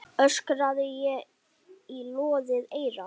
öskraði ég í loðið eyra.